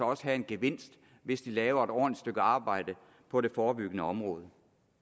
også have en gevinst hvis de laver et ordentligt stykke arbejde på det forebyggende område